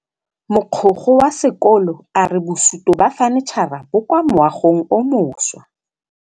Mogokgo wa sekolo a re bosutô ba fanitšhara bo kwa moagong o mošwa.